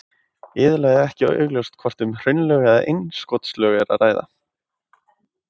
Iðulega er ekki augljóst hvort um hraunlög eða innskotslög er að ræða.